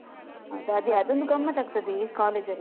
ಹೌದ ಅದೇ ಅದ್ ಒಂದು ಗಮತ್ತ್ ಆಗ್ತದೇ ಕಾಲೇಜ್ ಅಲ್ಲಿ.